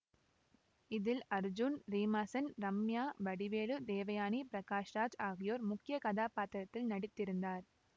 இதில் அர்ஜூன் ரீமா சென் ரம்யா வடிவேலு தேவயானி பிரகாஷ் ராஜ் ஆகியோர் முக்கிய கதாப்பாத்திரத்தில் நடித்திருந்தார்